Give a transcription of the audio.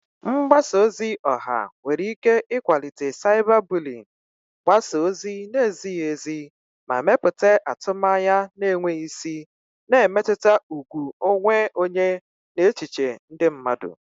Mgbasa ozi ọha nwere ike ịkwalite cyberbullying, gbasaa ozi na-ezighi ezi, ma mepụta atụmanya na-enweghị isi, na-emetụta ùgwù onwe onye na echiche ndị mmadụ.